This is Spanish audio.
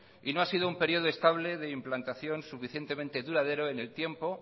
y no ha sido un periodo estable de implantación suficiente duradero en el tiempo